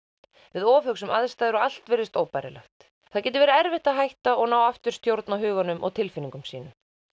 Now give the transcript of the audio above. við ofhugsum aðstæður og allt virðist óbærilegt það getur verið erfitt að hætta og ná aftur stjórn á huganum og tilfinningum sínum